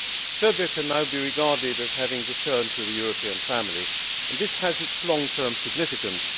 Serbia can now be regarded as having returned to the European family and this has its long term significance.